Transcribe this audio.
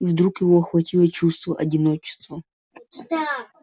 и вдруг его охватило чувство одиночества